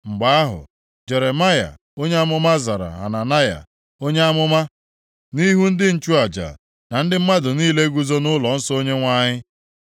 Mgbe ahụ, Jeremaya onye amụma zara Hananaya onye amụma nʼihu ndị nchụaja na ndị mmadụ niile guzo nʼụlọnsọ Onyenwe anyị